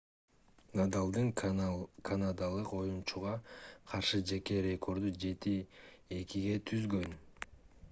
надалдын канадалык оюнчуга каршы жеке рекорду 7-2 түзгөн